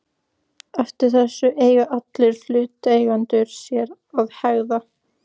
Eftir þessu eiga allir hlutaðeigendur sér að hegða.